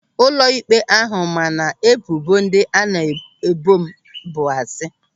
Ụlọịkpe ahụ ma na ebubo ndị a na-ebo m bụ asị